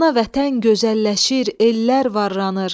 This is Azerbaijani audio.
Ana Vətən gözəlləşir, ellər varlanır.